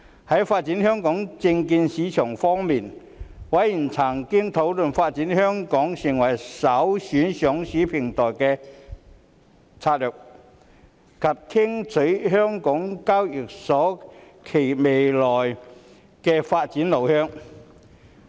在發展香港證券市場方面，委員曾討論發展香港成為首選上市平台的策略，以及聽取香港交易所簡介未來發展路向。